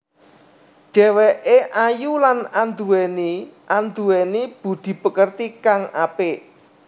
Dheweké ayu lan anduweni anduweni budhi pakerti kang apik